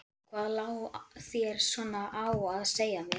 Og hvað lá þér svona á að segja mér?